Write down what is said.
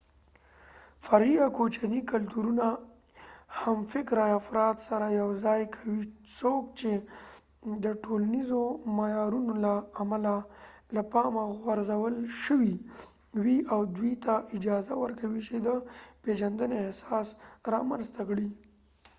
فرعي یا کوچني کلتورونه همفکره افراد سره یو ځای کوي څوک چې د ټولنیزو معیارونو له امله له پامه غورځول شوي وي او دوی ته اجازه ورکوي چې د پیژندنې احساس رامنځته کړي